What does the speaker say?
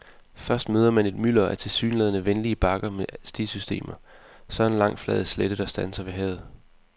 Først møder man et mylder af tilsyneladende venlige bakker med stisystemer, så en lang flad slette, der standser ved havet.